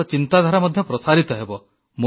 ଆପଣଙ୍କ ଚିନ୍ତାଧାରା ମଧ୍ୟ ପ୍ରସାରିତ ହେବ